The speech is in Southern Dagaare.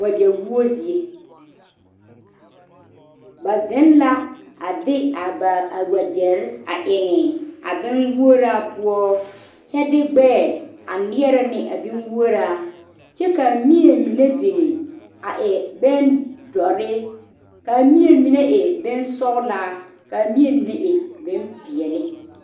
Wagye woo zie ba zeŋ la a de a ba a wagyere a eŋ a bonwoɔraa poɔ kyɛ de gbɛɛ a niɛre ne a bonwoɔraa kaa mie mine biŋ a e bondoɔre kaa mie mine e bonsɔglaa, kaa mie mine e bonpeɛle.